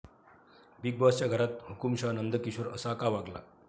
Big बाॅसच्या घरात 'हुकुमशहा' नंदकिशोर असा का वागला?